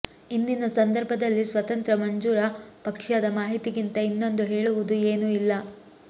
ಇಂದಿನ ಸಂದರ್ಭದಲ್ಲಿ ಸ್ವತಂತ್ರ ಮಂಜೂರ ಪಕ್ಷದ ಮಾಹಿತಿಗಿಂತ ಇನ್ನೊಂದು ಹೇಳುವುದು ಏನೂ ಇಲ್ಲ